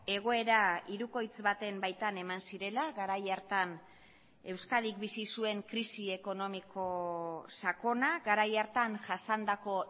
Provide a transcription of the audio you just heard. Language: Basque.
egoera hirukoitz baten baitan eman zirela garai hartan euskadik bizi zuen krisi ekonomiko sakona garai hartan jasandako